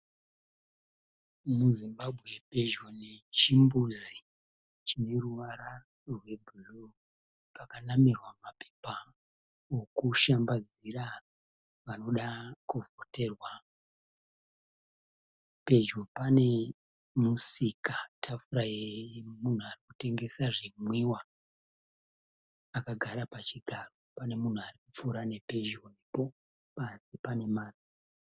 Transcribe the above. MuZimbabwe pedyo nechimbuzi chine ruvara rwebhuruu pakanamirwa mapepa okushambadzira vanoda kuvhoterwa. Pedyo pane musika tafura yemunhu anotengesa zvimwiwa akagara pachigaro. Pane munhu arikupfuura pedyo nepo. Pasi pane marara.